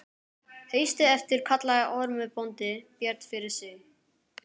Haustið eftir kallaði Ormur bóndi Björn fyrir sig.